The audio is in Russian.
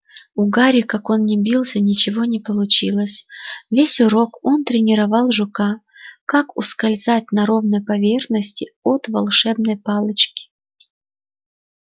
у гарри как он ни бился ничего не получилось весь урок он тренировал жука как ускользать на ровной поверхности от волшебной палочки